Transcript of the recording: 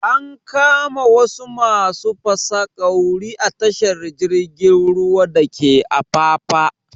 An kama wasu masu fasaƙauri a tashar jirgin ruwa dake afafa